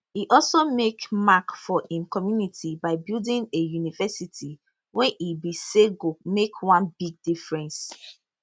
e also make mark for im community by building a university wey e bin say go make one big difference